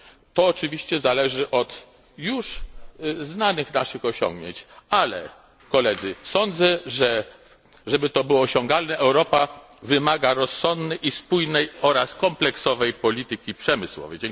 To oczywiście zależy od już znanych naszych osiągnięć, ale, Koledzy, sądzę, że, żeby to było osiągalne, Europa wymaga rozsądnej i spójnej oraz kompleksowej polityki przemysłowej.